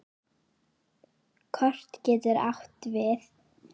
Kort getur átt við